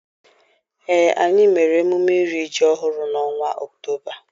Ee, anyị mere emume iri ji ọhụrụ n'ọnwa Ọktoba.